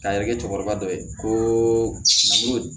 K'a yɛrɛ kɛ cɛkɔrɔba dɔ ye ko n ko